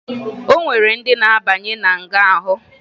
O nwere ndị na-abanye na nga ahụ